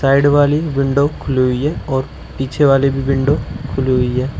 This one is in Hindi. साइड वाली विंडो खुली हुई है और पीछे वाली भी विंडो खुली हुई है।